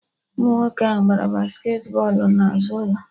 Ụmụ nwoke ahụ gbara basket bọlụ na azụ ụlọ